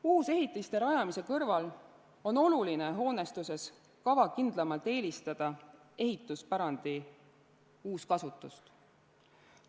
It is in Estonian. Uusehitiste rajamise kõrval on oluline hoonestuses kavakindlamalt eelistada ehituspärandi uuskasutust.